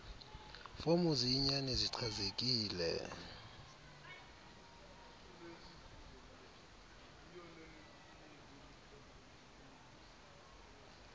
fomu ziyinyani zichanekile